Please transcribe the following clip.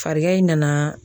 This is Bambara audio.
Farigan in nana